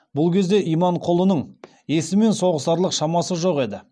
бұл кезде иманқұлының есіммен соғысарлық шамасы жоқ еді